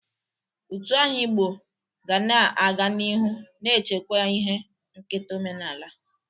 Utu aha Igbo ga na-aga n'ihu na-echekwa ihe nketa omenaala.